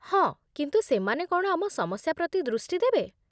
ହଁ, କିନ୍ତୁ ସେମାନେ କ'ଣ ଆମ ସମସ୍ୟା ପ୍ରତି ଦୃଷ୍ଟି ଦେବେ?